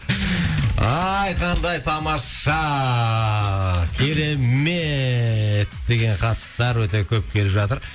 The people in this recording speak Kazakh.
ай қандай тамаша керемет деген хаттар өте көп келіп жатыр